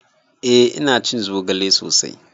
Eh ina cin zogale sosai.